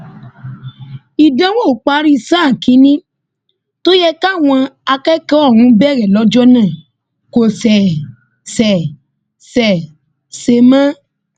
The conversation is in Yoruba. ìdánwò ìparí sáà kínínní tó yẹ káwọn akẹkọọ ọhún bẹrẹ lọjọ náà kò ṣeé ṣe ṣeé ṣe mọ